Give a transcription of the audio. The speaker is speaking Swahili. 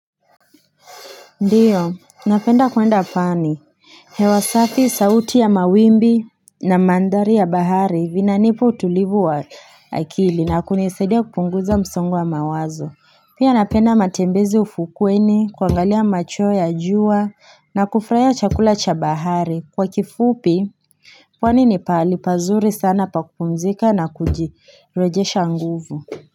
Ndiyo, napenda kwenda fani. Hewa safi, sauti ya mawimbi na mandari ya bahari vinanipa utulivu wa akili na kunasedia kupunguza msongwa mawazo. Pia napenda matembezi ufukweni, kuangalia macho ya jua na kufurahia chakula cha bahari. Kwa kifupi, pwani ni pahali pazuri sana pakumzika na kuji rejesha nguvu.